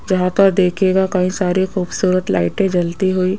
यहां पर देखिएगा कई सारे खूबसूरत लाइटे जलती हुई--